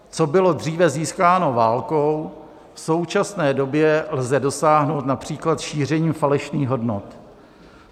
Co bylo dříve získáno válkou, v současné době lze dosáhnout například šířením falešných hodnot.